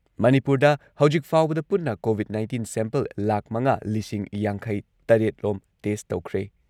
ꯃꯅꯤꯄꯨꯔꯗ ꯍꯧꯖꯤꯛ ꯐꯥꯎꯕꯗ ꯄꯨꯟꯅ ꯀꯣꯚꯤꯗ ꯅꯥꯢꯟꯇꯤꯟ ꯁꯦꯝꯄꯜ ꯂꯥꯈ ꯃꯉꯥ ꯂꯤꯁꯤꯡ ꯌꯥꯡꯈꯩ ꯇꯔꯦꯠ ꯂꯣꯝ ꯇꯦꯁꯠ ꯇꯧꯈ꯭ꯔꯦ ꯫